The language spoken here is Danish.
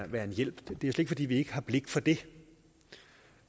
være en hjælp det er slet ikke fordi vi ikke har blik for det